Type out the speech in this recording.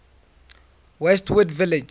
westwood village memorial